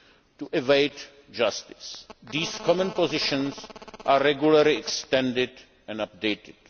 to evade justice. These common positions are regularly extended and updated.